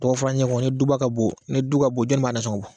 Dɔgɔ furncɛ ni duba ka bon ni du ka bon jɔni b'a nasɔngɔ bɔ